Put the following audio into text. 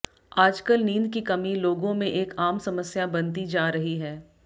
आजकल नींद की कमी लोगों में एक आम समस्या बनती जा रही है